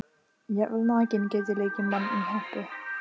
Jafnvel nakinn get ég leikið mann í hempu.